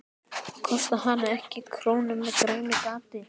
Það kostaði hana ekki krónu með grænu gati.